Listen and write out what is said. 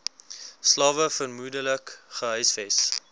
slawe vermoedelik gehuisves